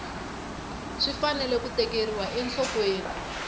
swi fanele ku tekeriwa enhlokweni